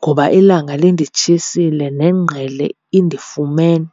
ngoba ilanga linditshisile nengqele indifumene.